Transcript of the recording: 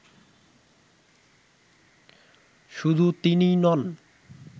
শুধু তিনিই নন